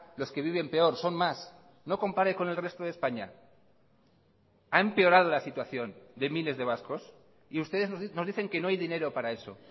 los que viven peor son más no compare con el resto de españa ha empeorado la situación de miles de vascos y ustedes nos dicen que no hay dinero para eso